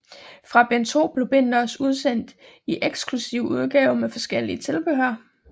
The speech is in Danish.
Fra bind 2 blev bindene også udsendt i eksklusive udgaver med forskelligt tilbehør